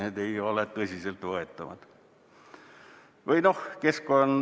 Need ei ole tõsiselt võetavad.